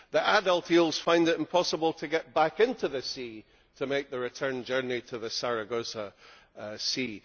The adult eels find it impossible to get back into the sea to make their return journey to the Sargasso Sea.